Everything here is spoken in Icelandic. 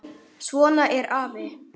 Svona er afi.